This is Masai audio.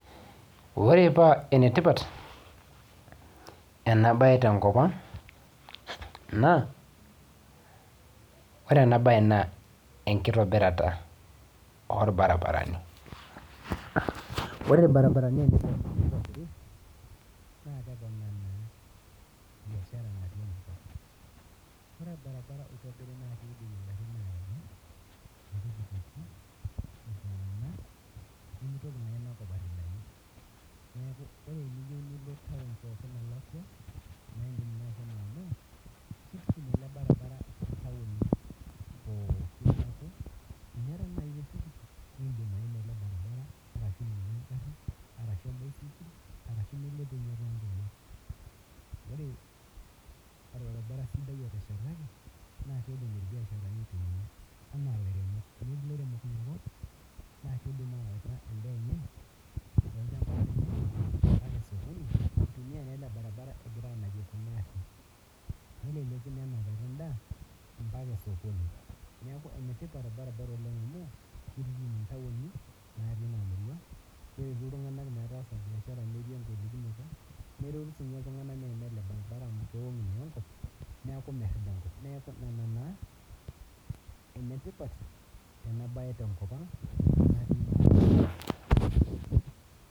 Ore paa enetipat enabae tenkopang na ore enabae na enkitobirata orbaribarani ore irbaribarani tenitobiri na keponaa biashara ore orbaribara tenitobiri nimitoki inakop alakwanu neaku teniyieu nilo taun nakitutum elebaribara ntauni pokki neaku indim aima elebaribara ashu enbaisikil ashu nilo tonkejek ore orbaribara oteshetaki na kidim irbiasharani aitumia na kidim awaita endaa enye osojoni neleku enamara endaa ambaka osokoni neaku enetipat orbaribara anu kitutum intauni natii inamurua kisho ltunganak metaasa biashara metii enkolikinoto na kewangu enkop neaku merida enkop neaku nona enetipat enabae tenkop aang